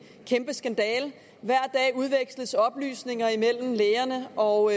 kæmpe skandale hver dag udveksles oplysninger imellem lægerne og